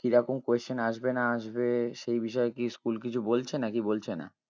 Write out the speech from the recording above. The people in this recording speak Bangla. কিরকম question আসবে না আসবে সেই বিষয়ে কি school কিছু বলছে নাকি বলছে না?